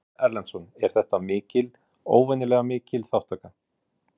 Ásgeir Erlendsson: Er þetta mikil, óvenjulega mikil þátttaka?